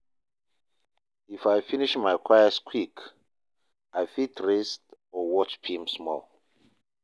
If I finish my chores quick, I fit rest or watch film small.